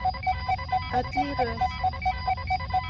Öll í röð.